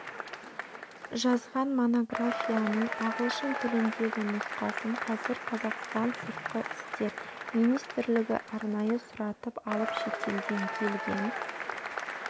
жазған монографияның ағылшын тіліндегі нұсқасын қазір қазақстан сыртқы істер министрлігі арнайы сұратып алып шетелден келген